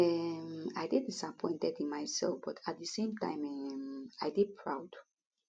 um i dey disappointed in mysef but at di same time um i dey proud